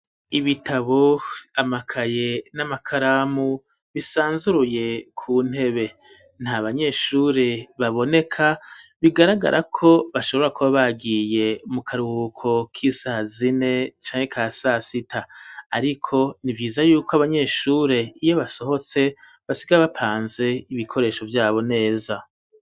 Ibitabo, amakaye n'amakaramu bisanzuruye ku ntebe ,nta banyeshuri baboneka bigaragarako bashobora kuba bagiye mu karuhuko k'isaha zine canke ka sasita, ariko ni vyiza yuko abanyeshuri iyo basohotse basiga bapanze ibikoresho vyabo neza.